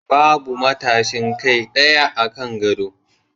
Babu matashin kai ɗaya akan gado